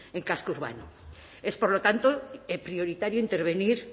en casco urbano es por lo tanto prioritario intervenir